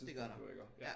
Dét gør der ja